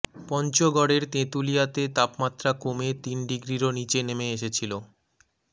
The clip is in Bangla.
পঞ্চগড়ের তেঁতুলিয়াতে তাপমাত্রা কমে তিন ডিগ্রিরও নীচে নেমে এসেছিলো